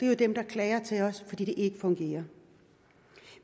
er dem der klager til os fordi det ikke fungerer